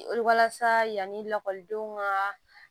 Walasa yanni lakɔlidenw ka